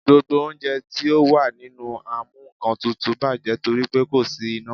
Gbogbo oúnjẹ tí ó wà nínú amúnkantutù bàjẹ́ torí pe kò sí iná.